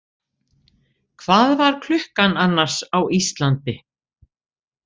Hvað var klukkan annars á Íslandi?